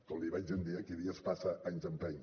com li vaig dir un dia qui dies passa anys empeny